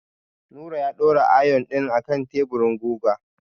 Nura ya daura ayon ɗin a kan teburin gugan.